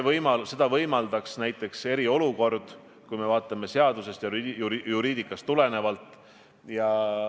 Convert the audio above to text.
Seda võimaldaks eriolukord, kui me lähtume seadusest, juriidikast.